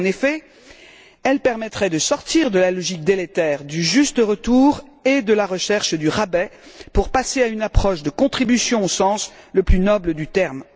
En effet, elle permettrait de sortir de la logique délétère du juste retour et de la recherche du rabais pour passer à une approche de contribution au sens le plus noble du terme.